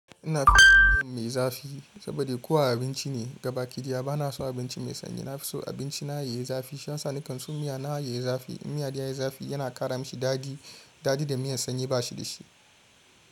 Ina son miyan mai zafi saboda kowa abinci ne gabaki diyya. Bana son abinci mai sanyi. Na fi so abinci na yayi zafi. Shiya sani kan so miya na yayi zafi. In miya dai yayi zafi yana ƙara mashi daɗi. Daɗi da miyan sanyi ba shi da shi.